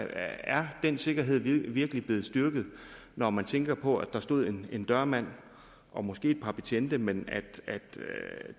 er den sikkerhed virkelig blevet styrket når man tænker på at der stod en en dørmand og måske et par betjente men at